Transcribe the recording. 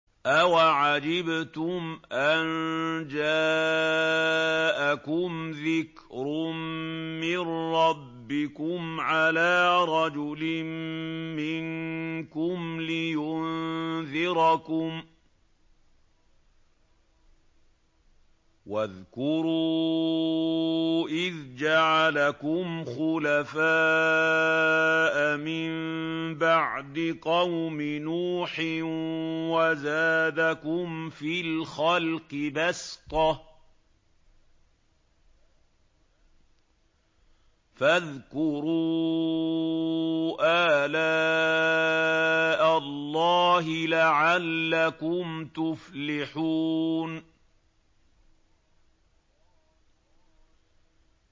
أَوَعَجِبْتُمْ أَن جَاءَكُمْ ذِكْرٌ مِّن رَّبِّكُمْ عَلَىٰ رَجُلٍ مِّنكُمْ لِيُنذِرَكُمْ ۚ وَاذْكُرُوا إِذْ جَعَلَكُمْ خُلَفَاءَ مِن بَعْدِ قَوْمِ نُوحٍ وَزَادَكُمْ فِي الْخَلْقِ بَسْطَةً ۖ فَاذْكُرُوا آلَاءَ اللَّهِ لَعَلَّكُمْ تُفْلِحُونَ